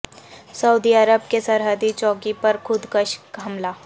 سعودی عرب کی سرحدی چوکی پر خود کش حملہ